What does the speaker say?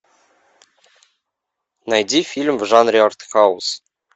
найди фильм в жанре артхаус